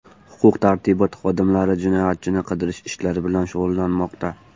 Huquq-tartibot xodimlari jinoyatchini qidirish ishlari bilan shug‘ullanmoqda.